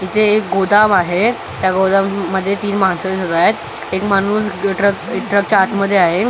इथे एक गोदाम आहे त्या गोदाम मध्ये तीन माणसं दिसत आहेत एक माणूस ट्रक ट्रक च्या आत मध्ये आहे.